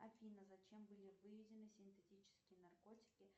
афина зачем были выведены синтетические наркотики